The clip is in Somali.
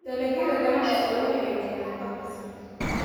Dalagyada ganacsigu waxay keenaan dakhli sare.